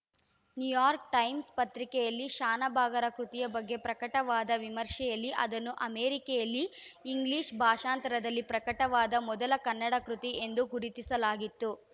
New York Times ಪತ್ರಿಕೆಯಲ್ಲಿ ಶಾನಭಾಗರ ಕೃತಿಯ ಬಗ್ಗೆ ಪ್ರಕಟವಾದ ವಿಮರ್ಶೆಯಲ್ಲಿ ಅದನ್ನು ಅಮೆರಿಕೆಯಲ್ಲಿ ಇಂಗ್ಲಿಷ್‌ ಭಾಷಾಂತರದಲ್ಲಿ ಪ್ರಕಟವಾದ ಮೊದಲ ಕನ್ನಡ ಕೃತಿ ಎಂದು ಗುರುತಿಸಲಾಗಿತ್ತು